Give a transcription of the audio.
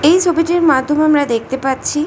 এই ছবিটির মাধ্যমে আমরা দেখতে পাচ্ছি--